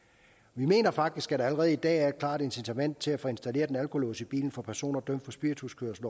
vi mener faktisk at der allerede i dag er et klart incitament til at få installeret en alkolås i bilen for personer dømt for spirituskørsel